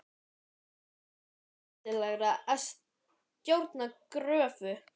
Það er svo miklu skemmtilegra að stjórna gröfu.